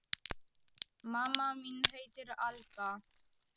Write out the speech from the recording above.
Mamma mín heitir Alda.